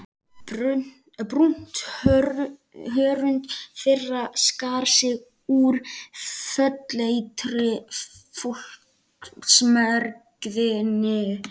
Brúnt hörund þeirra skar sig úr fölleitri fólksmergðinni.